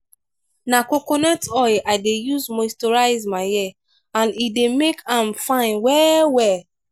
na coconut oil i dey use moisturize my hair and e dey make am fine well-well.